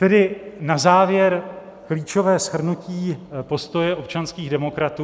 Tedy na závěr klíčové shrnutí postoje občanských demokratů.